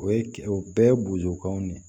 O ye o bɛɛ ye bozokanw de ye